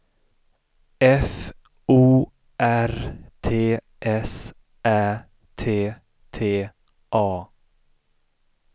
F O R T S Ä T T A